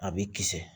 A b'i kisɛ